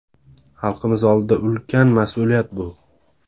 Xalqimiz oldida ulkan mas’uliyat bu.